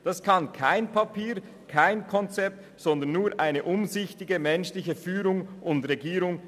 Das kann kein Papier und kein Konzept gewährleisten, sondern nur eine umsichtige, menschliche Führung und Regierung.